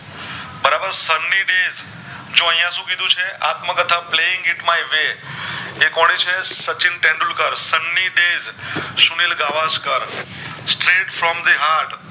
જો આયા શું કીધું છે આત્મકતાહ playing it my way એ કોની છે Sachin Tendulkar Sunil Gavaskar Saresh from the heart